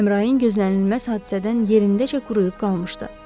Əmrayin gözlənilməz hadisədən yerindəcə quruyub qalmışdı.